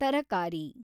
ತರಕಾರಿ